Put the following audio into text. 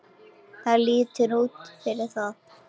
Það lítur út fyrir það